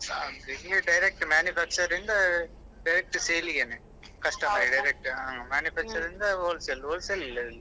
ಆದ್ರೆ ಇಲ್ಲಿ direct manufacture ರಿಂದ direct sale ಗೆನೆ direct ಹ್ಮ್ manufacture ಇಂದ wholesale wholesale ಇಲ್ಲ ಇಲ್ಲಿ.